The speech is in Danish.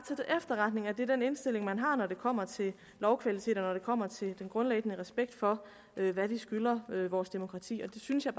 det er den indstilling man har når det kommer til lovkvalitet og når det kommer til den grundlæggende respekt for hvad vi skylder vores demokrati og det synes jeg